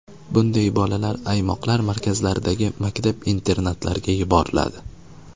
Bunday bolalar aymoqlar markazlaridagi maktab-internatlarga yuboriladi.